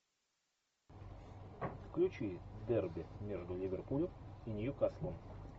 включи дерби между ливерпулем и ньюкаслом